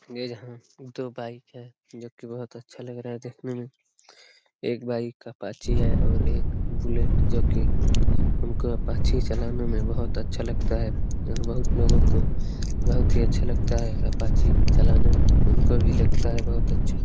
ये यहाँ दो बाइक है जो की बोहोत अच्छा लग रहा है। देखने में एक बाइक अपाची है। और एक बुलेट जो की हमको अपाची चलाने में अच्छा लगता है और बोहोत लोगो को बोहोत ही अच्छा लगता है अपाची चलाने में हमको भी लगता है बोहोत अच्छा |